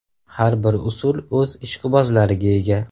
Har bir usul o‘z ishqibozlariga ega.